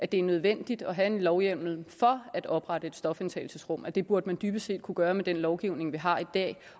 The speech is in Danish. det er nødvendigt at have en lovhjemmel for at oprette et stofindtagelsesrum altså at det burde man dybest set kunne gøre med den lovgivning vi har i dag